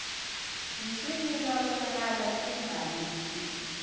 nswinyo lwabonakala lungalungile